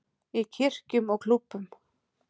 Í kirkjum og klúbbum.